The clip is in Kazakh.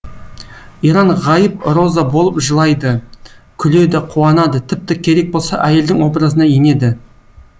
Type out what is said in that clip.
иран ғайып роза болып жылайды күледі қуанады тіпті керек болса әйелдің образына енеді